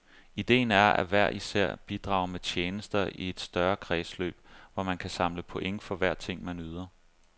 Ideen er, at hver især bidrager med tjenester i et større kredsløb, hvor man kan samle point for hver ting, man yder.